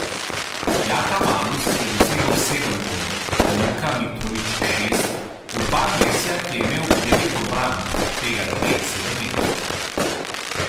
Jaka Malus je dosegel sedem golov, Luka Mitrović šest, Urban Lesjak je imel devet obramb, od tega dve sedemmetrovki.